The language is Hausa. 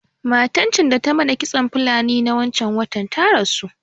Matan can da ta mana kitson Fulani na wancan watan ta rasu